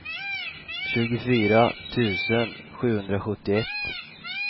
tjugofyra tusen sjuhundrasjuttioett